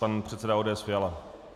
Pan předseda ODS Fiala.